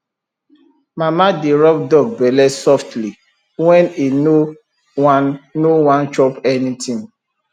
mama dey rub dog belle softly when e no wan no wan chop anything